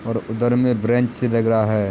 और उधर में ब्रेंच लग रहा है।